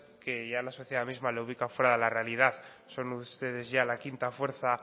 que ya la sociedad misma le ubica fuera de la realidad son ustedes ya la quinta fuerza